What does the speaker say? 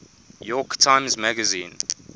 york times magazine